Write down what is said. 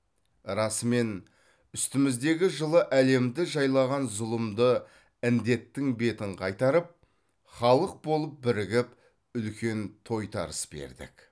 расымен үстіміздегі жылы әлемді жайлаған зұлымды індеттің бетін қайтарып халық болып бірігіп үлкен тойтарыс бердік